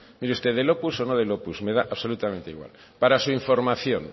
mire usted del opus o no del opus me da absolutamente igual para su información